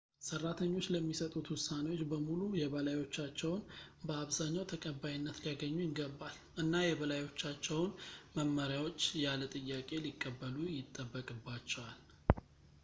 ሰራተኞች ለሚሰጡት ውሳኔዎች በሙሉ የበላዮቻቸውን በአብዝኛው ተቀባይነት ሊያገኙ ይገባል እና የበላዮቻቸውን መመሪያዎች ያለ ጥያቄ ሊቀበሉ ይጠበቅባቸዋል